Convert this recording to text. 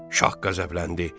Şah qəzəbləndi.